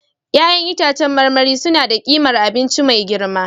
Ya'yan itãcen marmari suna da ƙimar abinci mai girma